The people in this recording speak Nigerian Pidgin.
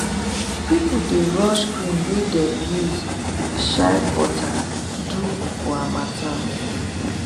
people the rush cream wey dem use shea butter do for harmattan